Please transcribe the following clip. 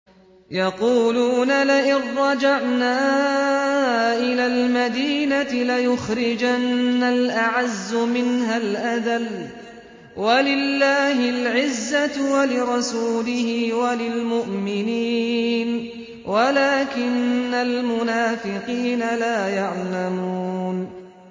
يَقُولُونَ لَئِن رَّجَعْنَا إِلَى الْمَدِينَةِ لَيُخْرِجَنَّ الْأَعَزُّ مِنْهَا الْأَذَلَّ ۚ وَلِلَّهِ الْعِزَّةُ وَلِرَسُولِهِ وَلِلْمُؤْمِنِينَ وَلَٰكِنَّ الْمُنَافِقِينَ لَا يَعْلَمُونَ